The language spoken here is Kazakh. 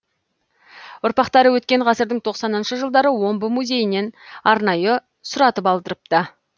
ұрпақтары өткен ғасырдың тоқсаныншы жылдары омбы музейінен арнайы сұратып алдырыпты